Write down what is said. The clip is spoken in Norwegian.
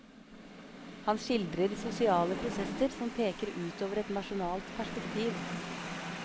Han skildrer sosiale prosesser som peker ut over et nasjonalt perspektiv.